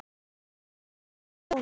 Einar, ég er sonur. hans.